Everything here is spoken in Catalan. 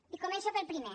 i començo pel primer